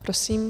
Prosím.